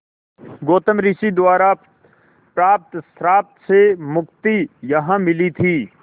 गौतम ऋषि द्वारा प्राप्त श्राप से मुक्ति यहाँ मिली थी